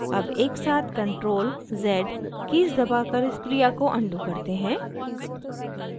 अब एकसाथ ctrl + z keys दबाकर इस क्रिया को अनडू करते हैं